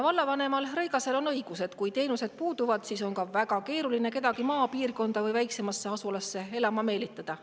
Vallavanem Rõigasel on õigus, et kui teenused puuduvad, siis on väga keeruline kedagi maapiirkonda või väiksemasse asulasse elama meelitada.